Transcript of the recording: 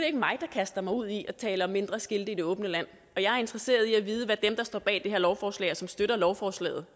ikke mig der kaster mig ud i at tale om mindre skilte i det åbne land og jeg er interesseret i at vide hvad dem der står bag det her lovforslag og som støtter lovforslaget